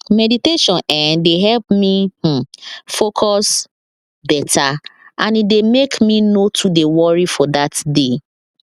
meditation eh dey help me um focus beta and e dey make me nor too dey worry for that day